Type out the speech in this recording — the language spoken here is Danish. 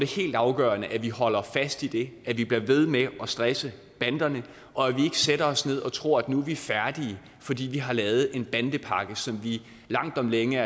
helt afgørende at vi holder fast i det at vi bliver ved med at stresse banderne og at vi ikke sætter os ned og tror at nu er vi færdige fordi vi har lavet en bandepakke som vi langt om længe